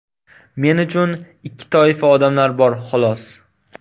Men uchun ikki toifa odamlar bor, xolos.